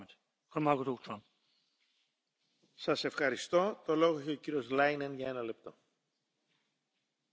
Es ist wichtig, uns klarzumachen, wie das halt es so schön heißt Nichts ist so mächtig wie eine Idee, deren Zeit gekommen